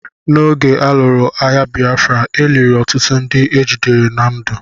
N'oge a lụrụ agha Bịafra, e liri ọtụtụ ndị ejidere na ndụ.